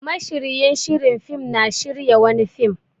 Mashiryin shiri fim na shirya wani fim.